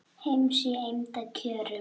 heims í eymda kjörum